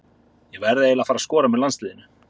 Ég verð eiginlega að fara að skora með landsliðinu.